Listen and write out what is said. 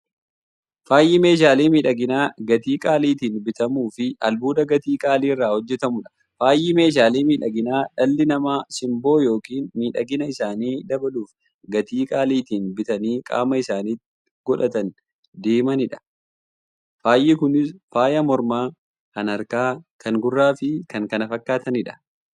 Faayyi meeshaalee miidhaginaa gatii qaaliitiin bitamuufi albuuda gatii qaalii irraa hojjatamuudha. Faayyi meeshaalee miidhaginaa, dhalli namaa simboo yookiin miidhagina isaanii dabaluuf, gatii qaalitiin bitanii qaama isaanitti qodhatanii deemaniidha. Faayyi Kunis; faaya mormaa, kan harkaa, kan gurraafi kan kana fakkaataniidha.